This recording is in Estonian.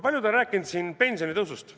Paljud on rääkinud siin pensionitõusust.